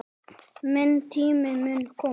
Minn tími mun koma.